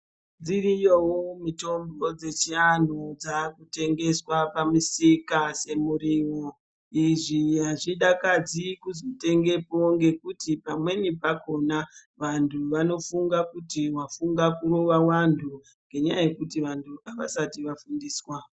Dziriyo mitombo dzechiantu dzaakutengeswa pamisika semuriwo. Izvi azvidakadzi kutengepo ngekuti pamweni pakhona, vantu vanofunga kuti wafunga kurowa vanhu ngenyaya yekuti vantu avasati vafundiswa.